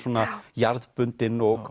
jarðbundinn og